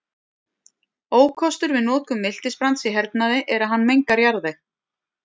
Ókostur við notkun miltisbrands í hernaði er að hann mengar jarðveg.